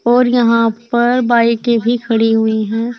और यहां पर बाईकें भी खड़ी हुई हैं।